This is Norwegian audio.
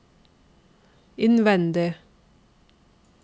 innvendig